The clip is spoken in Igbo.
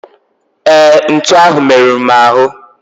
Ee, ntu ahụ meruru m ahụ.